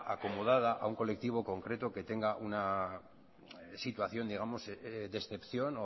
acomodada a una colectivo concreto que tenga una situación de excepción